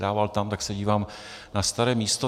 Sedával tam, tak se dívám na staré místo.